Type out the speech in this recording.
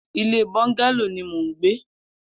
Ilé bọngàló ni mó n gbé